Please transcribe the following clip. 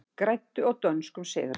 Græddu á dönskum sigri